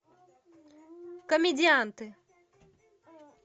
комедианты